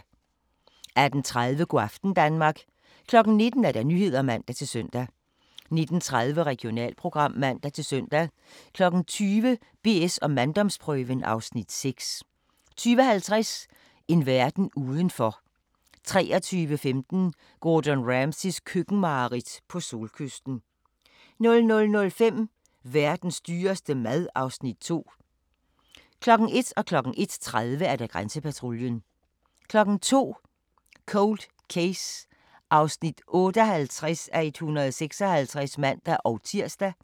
18:30: Go' aften Danmark 19:00: Nyhederne (man-søn) 19:30: Regionalprogram (man-søn) 20:00: BS & manddomsprøven (Afs. 6) 20:50: En verden udenfor 23:15: Gordon Ramsays køkkenmareridt - på solkysten 00:05: Verdens dyreste mad (Afs. 2) 01:00: Grænsepatruljen 01:30: Grænsepatruljen 02:00: Cold Case (58:156)(man-tir)